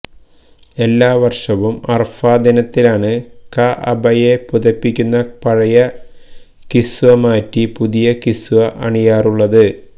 എല്ലാ വര്ഷവും അറഫാ ദിനത്തിലാണ് കഅബയെ പുതപ്പിക്കുന്ന പഴയ കിസ്വ മാറ്റി പുതിയ കിസ്വ അണിയാറുള്ളത്